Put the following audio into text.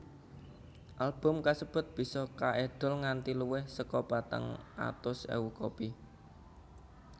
Album kasebut bisa kaedol nganti luwih saka patang atus ewu kopi